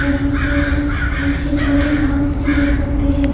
यहा पर हम निचे छीटे घास भी देख सकते है।